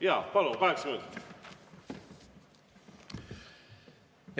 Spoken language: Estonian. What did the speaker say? Jaa, palun, kaheksa minutit!